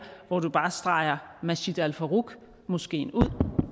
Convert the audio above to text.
hvor man bare streger masjid al faruq moskeen ud